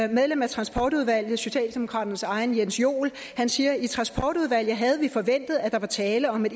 medlem af transportudvalget socialdemokraternes egen jens joel siger i transportudvalget havde vi forventet at der var tale om et